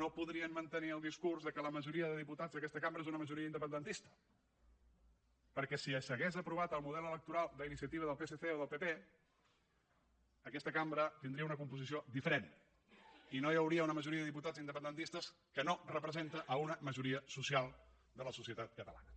no podrien mantenir el discurs que la majoria de diputats d’aquesta cambra és una majoria independentista perquè si s’hagués aprovat el model electoral d’iniciativa del psc o del pp aquesta cambra tindria una composició diferent i no hi hauria una majoria de diputats independentistes que no representa una majoria social de la societat catalana